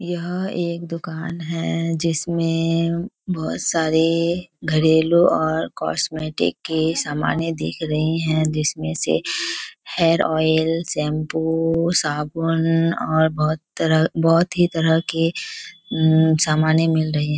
यह एक दुकान है जिसमे बहुत सारे घरेलू और कॉस्मेटिक की सामाने दिख रही है जिसमे से हेयर ऑइल शैंपू साबुन और बहुत तरह बहुत ही तरह की समाने मिल रही है।